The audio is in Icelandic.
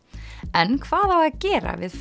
en hvað á að gera við